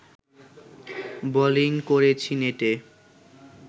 bowling করেছি নেটে